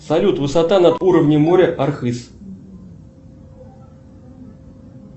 салют высота над уровнем моря архыз